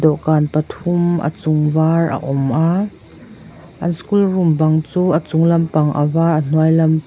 dawhkan pathum a chung var a awm a an school room bang chu a chunglam pang a var a hnuai lam pang--